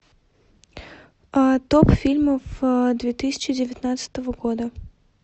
топ фильмов две тысячи девятнадцатого года